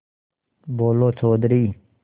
बोलो चौधरी